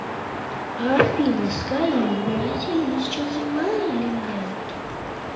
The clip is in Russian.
афина скажи в бразилии сейчас зима или лето